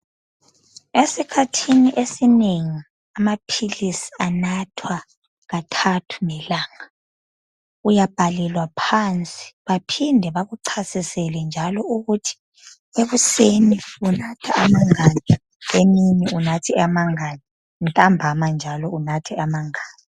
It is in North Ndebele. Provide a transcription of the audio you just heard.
Esikhathini esinengi amaphilisi anathwa kathathu ngelanga, uyabhalelwa phansi baphinde bakuchasisele njalo ukuthi ekuseni unatha amangaki, emini unathe amangaki ntambama njalo unathe amangaki